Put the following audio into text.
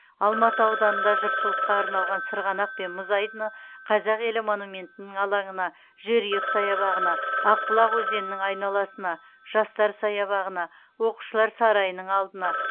алматы ауданында жұртшылыққа арналған сырғанақ пен мұз айдыны қазақ елі монументінің алаңына жерұйық саябағына ақбұлақ өзенінің айналасына жастар саябағына оқушылар сарайының алдына